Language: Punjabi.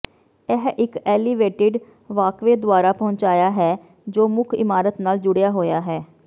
ਇਹ ਇਕ ਐਲੀਵੇਟਿਡ ਵਾਕਵੇਅ ਦੁਆਰਾ ਪਹੁੰਚਿਆ ਹੈ ਜੋ ਮੁੱਖ ਇਮਾਰਤ ਨਾਲ ਜੁੜਿਆ ਹੋਇਆ ਹੈ